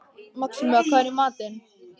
Maxima, hvað er í matinn?